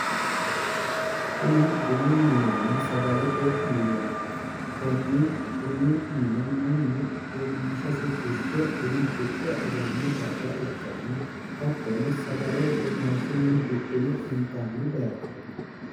Kuni bunu minenna sagalete mineeti konni bunu mine mannu womaashasi fushe buna hidhe aganno darga ikkanna hattono sagale womaashunni hidhine intanni bayichooti